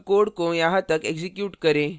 अब code को यहाँ तक एक्जीक्यूट करें